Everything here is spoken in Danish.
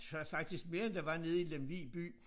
Så faktisk mere end der var nede i Lemvig by